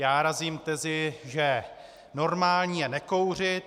Já razím tezi, že normální je nekouřit.